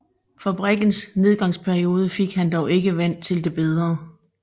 Fabrikkens nedgangsperiode fik han dog ikke vendt til det bedre